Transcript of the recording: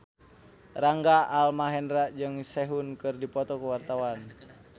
Rangga Almahendra jeung Sehun keur dipoto ku wartawan